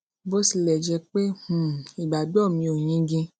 bó tilè jé pé um ìgbàgbó mi ò yingin